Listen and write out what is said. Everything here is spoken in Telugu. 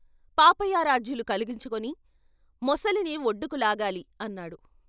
పాపయారాధ్యులు కలిగించుకుని " మొసలిని ఒడ్డుకు లాగాలి " అన్నాడు.